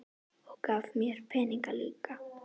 Og gaf mér peninga líka.